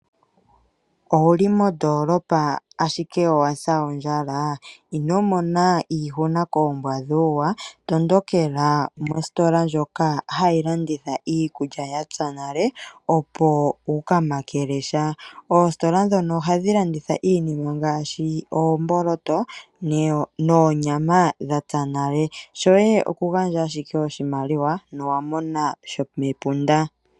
Owuli mondoolopa ashike owasa ondjala? Inomona iihuna koombwa dhuuwa . Tondokela mositola moka hamu landithwa iikulya yapya nale, opo wuka makele sha. Oositola ndhono ohadhi landitha iinima ngaashi oomboloto noonyama dhapya nale, shoye okugandja oshimaliwa ngoye wumone sha shomepunda.